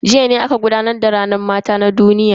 Jiya ne aka gudanar da ranar mata ta duniya.